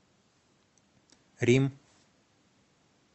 рим